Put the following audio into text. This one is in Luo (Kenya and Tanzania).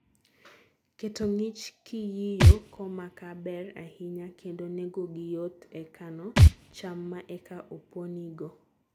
keto ng'ich kiyiyo ko makaa ber ahinya kendo nengo gi yot e kano cham ma eka oponi go